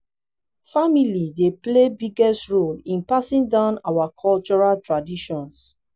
family dey play biggest role in passing down our cultural traditions.